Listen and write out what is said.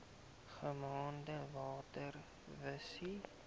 genaamd water wise